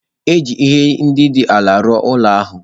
E ji ihe ndị dị ala rụọ ụlọ ahụ.